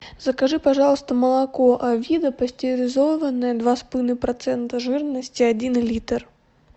закажи пожалуйста молоко авида пастеризованное два с половиной процента жирности один литр